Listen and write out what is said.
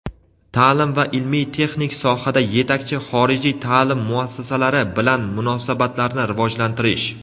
taʼlim va ilmiy-texnik sohada yetakchi xorijiy taʼlim muassasalari bilan munosabatlarni rivojlantirish;.